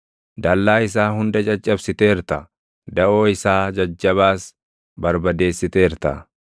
Dallaa isaa hunda caccabsiteerta; daʼoo isaa jajjabaas barbadeessiteerta.